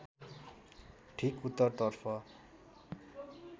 ठिक उत्तरतर्फ